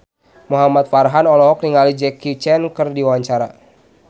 Muhamad Farhan olohok ningali Jackie Chan keur diwawancara